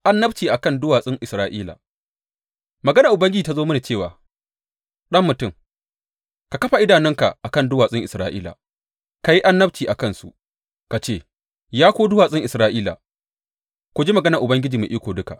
Annabci a kan duwatsun Isra’ila Maganar Ubangiji ta zo mini cewa, Ɗan mutum, ka kafa idonka a kan duwatsun Isra’ila; ka yi annabci a kansu ka ce, Ya ku duwatsun Isra’ila, ku ji maganar Ubangiji Mai Iko Duka.